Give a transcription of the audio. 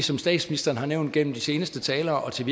som statsministeren har nævnt gennem de seneste talere og til